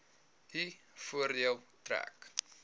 u voordeel trek